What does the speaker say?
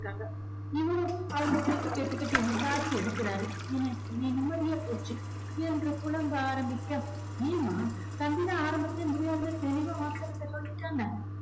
இவரும் அவங்க பேச்சைக் கேட்டுகிட்டு என்ன எடுக்குறாரு. என்ன ஏன் நிம்மதியே போச்சு என்று புலம்ப ஆரம்பிக்க ஏன்மா தம்பி தான் ஆரம்பத்திலே முடியாதுன்னு தெளிவா மாப்பிள்ளை கிட்ட சொல்லிட்டான் இல்ல